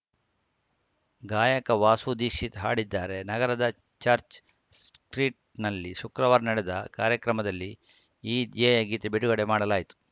ಗಾಯಕ ವಾಸು ದೀಕ್ಷಿತ್‌ ಹಾಡಿದ್ದಾರೆ ನಗರದ ಚರ್ಚ್ ಸ್ಟ್ರೀಟ್‌ನಲ್ಲಿ ಶುಕ್ರವಾರ ನಡೆದ ಕಾರ್ಯಕ್ರಮದಲ್ಲಿ ಈ ಧ್ಯೇಯ ಗೀತೆ ಬಿಡುಗಡೆ ಮಾಡಲಾಯಿತು